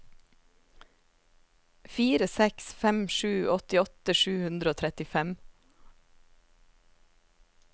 fire seks fem sju åttiåtte sju hundre og trettifem